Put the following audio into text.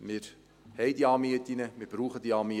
Wir haben diese Anmieten, und wir brauchen diese Anmieten.